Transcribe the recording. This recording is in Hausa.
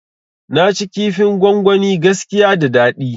Naci kifin gwangwani gaskiya da dadi